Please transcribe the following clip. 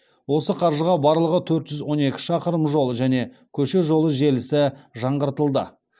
осы қаржыға барлығы төрт жүз он екі шақырым жол және көше жолы желісі жаңғыртылды